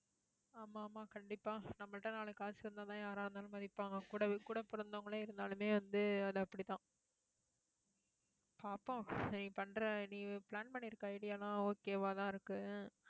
ஆமா, ஆமா கண்டிப்பா நம்மகிட்ட நாலு காசு இருந்தாதான் யாரா இருந்தாலும், மதிப்பாங்க கூடவே கூட பொறந்தவங்களே, இருந்தாலுமே வந்து, அது அப்படிதான் பாப்போம் நீ பண்ற நீ plan பண்ணியிருக்க idea எல்லாம் okay வா தான் இருக்கு.